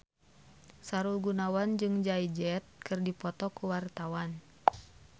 Sahrul Gunawan jeung Jay Z keur dipoto ku wartawan